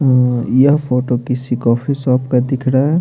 यह फोटो किसी coffee shop का दिख रहा है।